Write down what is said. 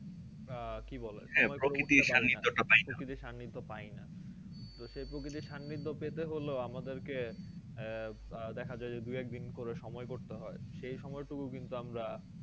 আহ কি বলে প্রকৃতির সার্নিধ্যে পাইনা তো সেই প্রকৃতির সার্নিধ্যে পেতে হলেও আমাদের কে আহ আহ দেখা যাই দুই একদিন করে সময় করতে হয় সেই সময় টুকু কিন্তু আমরা